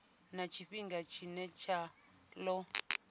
na tshifhinga tshine tsha ḓo